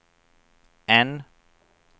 N